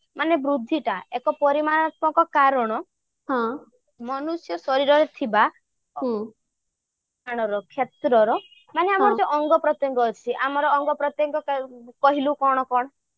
ମାନେ ବୃଦ୍ଧିଟା ଏକ ପରିମାଣାତ୍ମକ କାରଣ ମନୁଷ୍ୟ ଶରୀରରେ ଥିବା କ୍ଷେତ୍ରର ମାନେ ଆମର ଯେଉଁ ଅଙ୍ଗ ପ୍ରତ୍ୟଙ୍ଗ ଅଛି ଆମର ଅଙ୍ଗ ପ୍ରତ୍ୟଙ୍ଗ କହିଲୁ କଣ କଣ